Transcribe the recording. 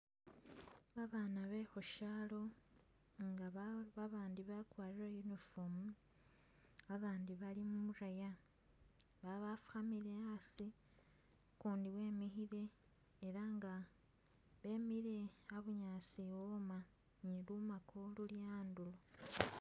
Babaana bekhushaalo nga ba babandi bakwarile uniform, abandi bali mu'raya, babafukhamile a'asi, ukundi wemikhile ela bemile a'bunyaasi a'wooma ni lumako luli a'ndulo